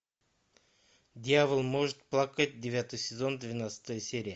дьявол может плакать девятый сезон двенадцатая серия